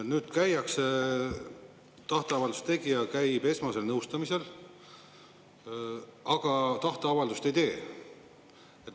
Nüüd käiakse, tahteavalduse tegija käib esmasel nõustamisel, aga tahteavaldust ei tee.